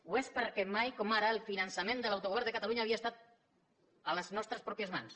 ho és perquè mai com ara el finançament de l’autogovern de catalunya havia estat a les nostres pròpies mans